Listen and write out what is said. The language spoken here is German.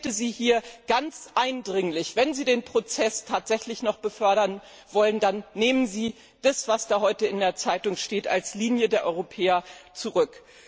Ich bitte Sie hier ganz eindringlich Wenn Sie den Prozess tatsächlich noch fördern wollen, dann nehmen Sie das, was heute in der Zeitung steht, als Linie der Europäer zurück.